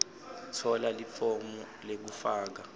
tfola lifomu lekufaka